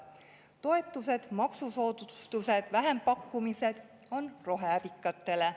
Toetused, maksusoodustused, vähempakkumised on roheärikatele.